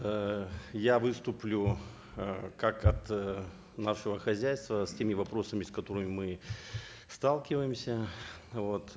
э я выступлю э как от э нашего хозяйства с теми вопросами с которыми мы сталкиваемся вот